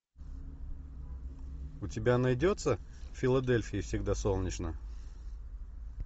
у тебя найдется в филадельфии всегда солнечно